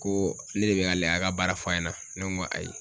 Ko ne de be ale a ka baara fɔ a ɲɛna ? Ne ko n ko ayi.